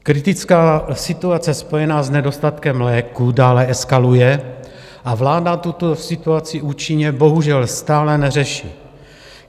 Kritická situace spojená s nedostatkem léků dále eskaluje a vláda tuto situaci účinně bohužel stále neřeší.